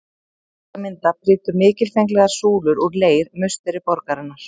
Til að mynda prýddu mikilfenglegar súlur úr leir musteri borgarinnar.